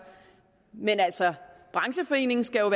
men brancheforeningen skal jo